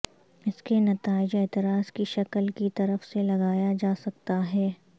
اس کے نتائج اعتراض کی شکل کی طرف سے لگایا جا سکتا ہے